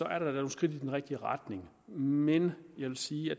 er der da nogle skridt i den rigtige retning men jeg vil sige at